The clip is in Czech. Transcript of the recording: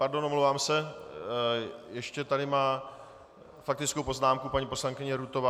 Pardon, omlouvám se, ještě tady má faktickou poznámku paní poslankyně Rutová.